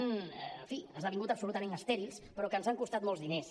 en fi esdevingut absolutament estèrils però que ens han costat molts diners